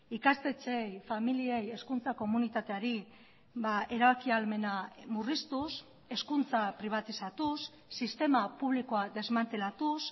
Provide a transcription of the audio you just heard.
ikastetxeei familiei hezkuntza komunitateari erabaki ahalmena murriztuz hezkuntza pribatizatuz sistema publikoa desmantelatuz